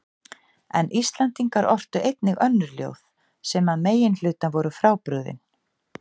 En Íslendingar ortu einnig önnur ljóð sem að meginhluta voru frábrugðin